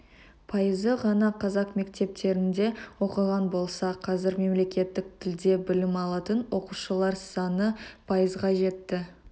пайызы ғана қазақ мектептерінде оқыған болса қазір мемлекеттік тілде білім алатын оқушылар саны пайызға жетті